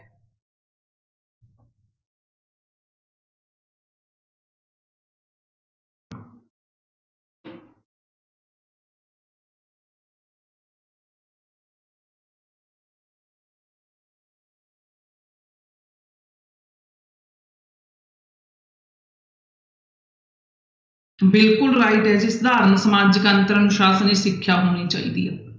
ਬਿਲਕੁਲ right ਹੈ ਜੀ ਸਧਾਰਨ ਸਮਾਜਿਕ ਅੰਤਰ ਅਨੁਸ਼ਾਸ਼ਨੀ ਸਿੱਖਿਆ ਹੋਣੀ ਚਾਹੀਦੀ ਆ।